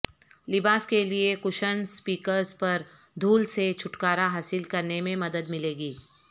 لباس کے لئے کشن اسپیکرز پر دھول سے چھٹکارا حاصل کرنے میں مدد ملے گی